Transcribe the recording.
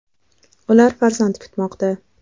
Ular farzand kutmoqda.